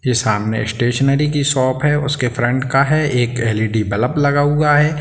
ये समने स्टेशनरी की शॉप है उसके फ्रन्ट का है एक एल.इ.डी. बल्ब लगा हुआ है।